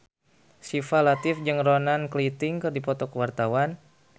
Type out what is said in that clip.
Syifa Latief jeung Ronan Keating keur dipoto ku wartawan